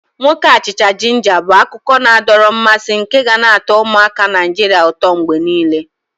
Nwoke achicha-jinja bu akụkọ na-adọrọ mmasị nke ga na atọ ụmụaka Naijiria ụtọ mgbe niile.